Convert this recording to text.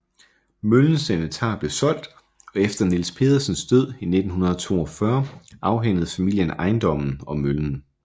Møllens inventar blev solgt og efter Niels Pedersens død i 1942 afhændede familien ejendommen og møllen